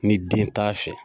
Ni den t'a fɛ.